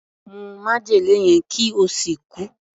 Mu májèlé yẹn kí o sì kú!